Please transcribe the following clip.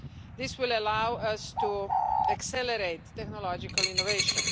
This will allow us to accelerate technological innovation.